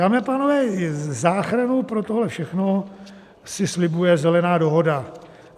Dámy a pánové, záchranu pro tohle všechno si slibuje Zelená dohoda.